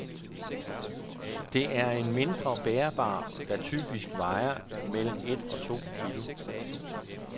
Det er en mindre bærbar, der typisk vejer mellem et og to kilo.